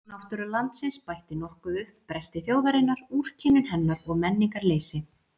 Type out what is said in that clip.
Náttúra landsins bætti nokkuð upp bresti þjóðarinnar, úrkynjun hennar og menningarleysi.